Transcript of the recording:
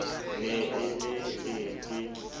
ne e le e ke